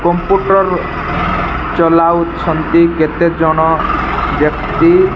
ପୁପୁନ୍ ର ଲ ଚଳାଉଛନ୍ତି କେତେଜଣ ବ୍ୟକ୍ତି।